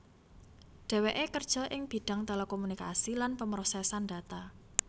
Dheweké kerja ing bidhang telekomunikasi lan pemrosesan data